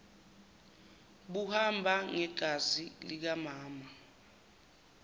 buhamba ngegazi likamama